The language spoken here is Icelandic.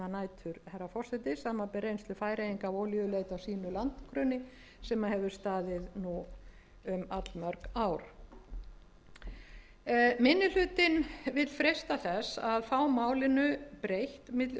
reynslu færeyinga af olíuleit á sínu landgrunni sem hefur staðið nú um allmörg ár minni hlutinn vill freista þess að fá málinu breytt á milli